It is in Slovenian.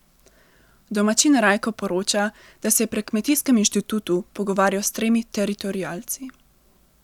Domačin Rajko poroča, da se je pri Kmetijskem inštitutu pogovarjal s tremi teritorialci.